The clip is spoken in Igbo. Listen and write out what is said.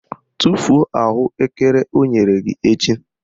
Tufuo ahụekere o nyere gị echi!